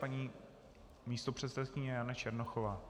Paní místopředsedkyně Jana Černochová.